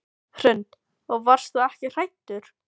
Hrund: Og varst þú ekkert hræddur?